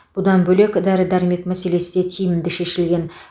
бұдан бөлек дәрі дәрмек мәселесі де тиімді шешілген